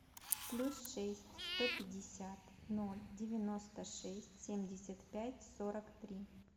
плюс шесть сто пятьдесят ноль девяносто шесть семьдесят пять сорок три